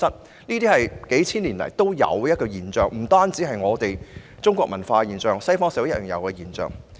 同性戀是數千年來皆存在的現象，不但是中國社會的現象，西方社會亦然。